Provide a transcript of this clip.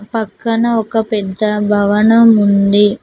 పక్కన ఒక పెద్ద భవనం ఉంది.